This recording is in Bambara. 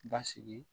Basigi